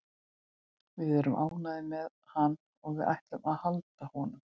Við erum ánægðir með hann og við ætlum að halda honum.